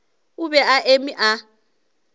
o be a eme a